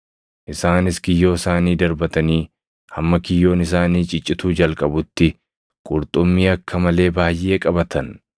Isaanis kiyyoo isaanii darbatanii hamma kiyyoon isaanii ciccituu jalqabutti qurxummii akka malee baayʼee qabatan.